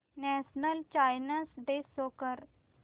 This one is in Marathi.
नॅशनल सायन्स डे शो कर